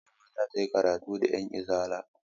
Malama za ta yi karatu ga 'yanizala.